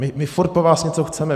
My furt po vás něco chceme!